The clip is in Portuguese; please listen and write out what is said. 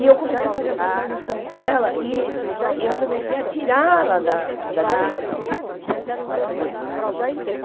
E eu comecei a fazer essa tradução com ela e eu comecei a tirá-la da da depressão com essa tradução.